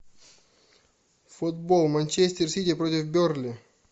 футбол манчестер сити против бернли